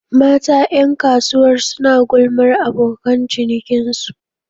Mata 'yan kasuwar suna gulmar abokan cikinsu